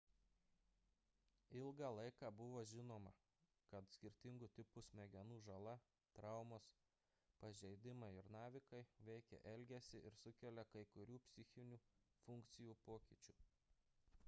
ilgą laiką buvo žinoma kad skirtingų tipų smegenų žala traumos pažeidimai ir navikai veikia elgesį ir sukelia kai kurių psichinių funkcijų pokyčių